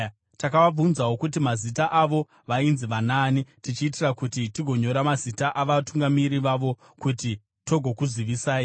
Takavabvunzawo kuti mazita avo vainzi vanaani, tichiitira kuti tingonyora mazita avatungamiri vavo kuti tigokuzivisai.